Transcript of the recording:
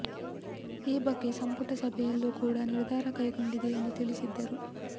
ಈ ಬಗ್ಗೆ ಸಂಪುಟ ಸಭೆಯಲ್ಲೂ ಕೂಡ ನಿರ್ಧಾರ ಕೈಗೊಂಡಿದೆ ಎಂದು ತಿಳಿಸಿದ್ದರು